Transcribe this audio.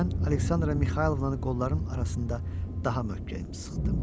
Mən Aleksandra Mixaylovnanın qollarının arasında daha möhkəm sıxdım.